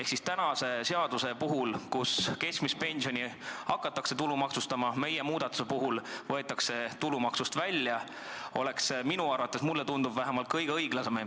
Kui tänase seaduse järgi hakatakse keskmist pensioni tulumaksustama, siis meie muudatusega võetakse nad tulumaksustamise alt välja, mis oleks minu arvates – mulle tundub vähemalt – kõige õiglasem.